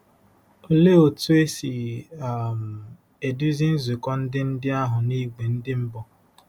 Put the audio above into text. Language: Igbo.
Olee otú e si um eduzi nzukọ ndị ndị ahụ n'ìgwè ndị mbụ?